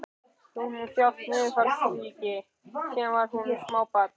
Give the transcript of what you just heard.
Hún hefur þjáðst af niðurfallssýki síðan hún var smábarn.